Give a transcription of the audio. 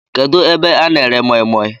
Kedụ ebe a na-ere moimoi?